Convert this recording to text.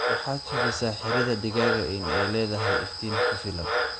Waxaad hubisa xiridha digaaga in ay ledhahay iftiin kufilaan.